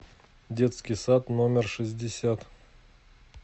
детский сад номер шестьдесят